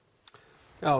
já